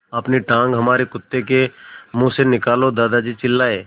अपनी टाँग हमारे कुत्ते के मुँह से निकालो दादाजी चिल्लाए